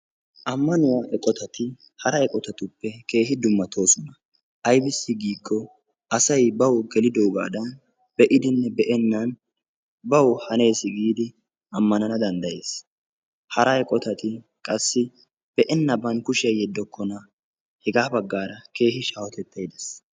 ammanuwaa eqotati hara eqotatuppe keehi dummatoosona aybissi giikko asay bawu gelidoogaadan be'idinne be'ennan bawu hanes giidi ammanana danddayes hara eqotati qassi be'enaban kushiya yeddokona hegaa baggara keehi shaahotettay de'es.